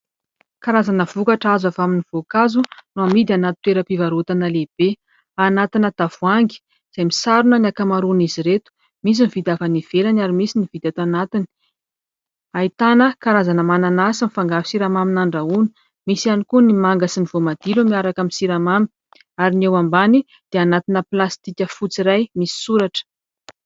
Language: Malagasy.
Karazana vokatra azo avy amin'ny voankazo, no amidy anaty toeram-pivarotana lehibe ; anati-na tavoahangy izay misarona ny ankamaroan'izy ireto. Misy ny vita avy any ivelany, ary misy ny vita tanatiny. Ahitana karazana mananasy mifangaro siramamy nandrahoina ; misy hiany koa manga sy voamadilo miaraka amin'ny siramamy ; ary ny eo ambany dia anati-na plastika fotsy iray, misy soratra.